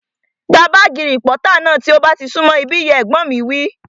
Gba bààgì rìpọ́tà náà tí ó bá ti sún mọ̀ ibí yìí! Ẹ̀gbọ́n mi wí